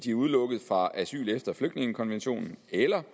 de er udelukket fra asyl efter flygtningekonventionen eller